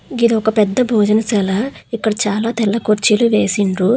ఇది ఒక పెద్ద భోజనం చాలా ఇక్కడ చాలా తెల్ల కుర్చీలు వేసిండ్రు.